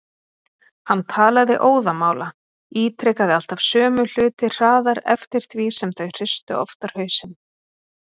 Hann talaði óðamála, ítrekaði alltaf sömu hluti hraðar eftir því sem þau hristu oftar hausinn.